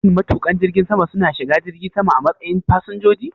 Shin matuƙan jirgin sama su na shiga jirgi sama a matsayin fasinjoji?